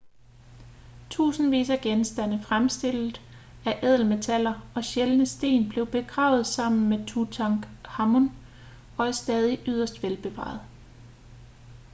tusindvis af genstande fremstillet af ædelmetaller og sjældne sten blev begravet sammen med tutankhamon og er stadig yderst velbevarede